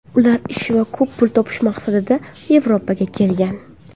Ular ish va ko‘p pul topish maqsadida Yevropaga kelgan.